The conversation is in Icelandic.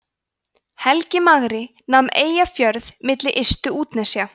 helgi magri nam eyjafjörð milli ystu útnesja